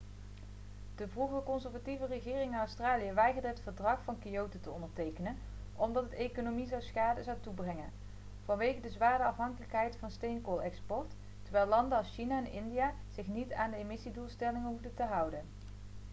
de vroegere conservatieve regering in australië weigerde het verdrag van kyoto te ondertekenen omdat het de economie schade zou toebrengen vanwege de zware afhankelijkheid van de steenkoolexport terwijl landen als china en india zich niet aan de emissiedoelstellingen hoefden te houden